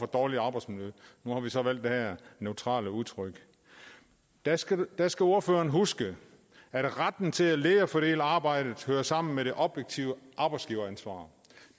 dårligt arbejdsmiljø nu har vi så valgt det her neutrale udtryk der skal der skal ordførerne huske at retten til at lede og fordele arbejdet hører sammen med det objektive arbejdsgiveransvar